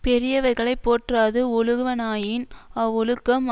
பெரியவர்களை போற்றாது ஒழுகுவனாயின் அவ்வொழுக்கம்